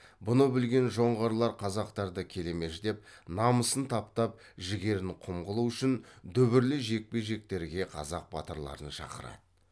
бұны білген жоңғарлар қазақтарды келемеждеп намысын таптап жігерін құм қылу үшін дүбірлі жекпе жектерге қазақ батырларын шақырады